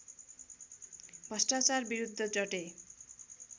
भ्रष्टाचार विरुद्ध डटे